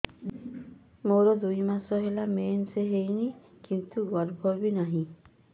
ମୋର ଦୁଇ ମାସ ହେଲା ମେନ୍ସ ହେଇନି କିନ୍ତୁ ଗର୍ଭ ବି ନାହିଁ